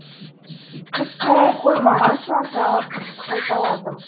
қыз қарай қоймаған соң тағы қайталадым